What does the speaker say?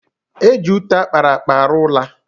Eji ute akpara akpa arụ ụla